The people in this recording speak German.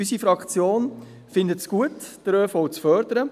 Unsere Fraktion findet es gut, den ÖV zu fördern.